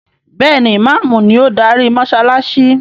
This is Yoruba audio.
Béèni Imàámu ni o darí mósálásí.